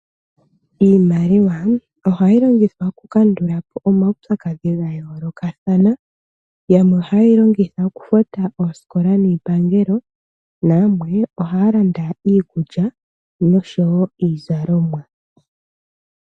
Iimaliwa ohayi longithwa oku kandulapo omaupyakadhi gayoolokathana. Yamwe ohaye yi longitha okufuta oosikola niipangelo, nayamwe ohaya landa iikulya nosho wo iizalomwa.